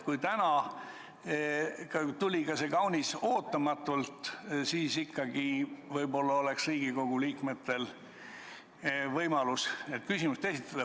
Kuigi täna tuli see kaunis ootamatult, siis ma ikkagi arvan, et Riigikogu liikmetel võiks olla võimalus küsimusi esitada.